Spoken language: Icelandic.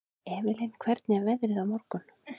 Evelyn, hvernig er veðrið á morgun?